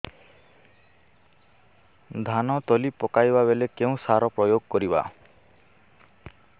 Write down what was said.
ଧାନ ତଳି ପକାଇବା ବେଳେ କେଉଁ ସାର ପ୍ରୟୋଗ କରିବା